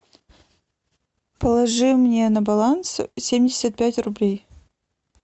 положи мне на баланс семьдесят пять рублей